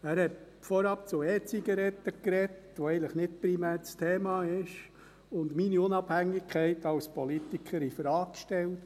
Er hat vorab zu E-Zigaretten gesprochen, was eigentlich nicht primär Thema ist, und meine Unabhängigkeit als Politiker infrage gestellt.